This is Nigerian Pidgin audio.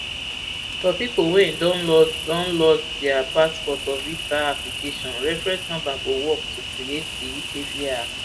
for pipo wey don lost don lost dia brp passport or visa application reference number go work to create di ukvi account